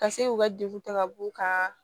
Ka se k'u ka degun ta ka b'u kan